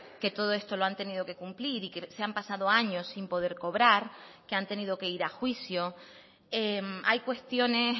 que todo esto lo han tenido que cumplir y que se han pasado años sin poder cobrar que han tenido que ir a juicio hay cuestiones